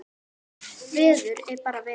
Veður er bara veður.